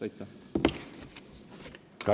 Aitäh!